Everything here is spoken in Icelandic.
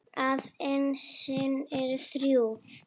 að essin eru þrjú!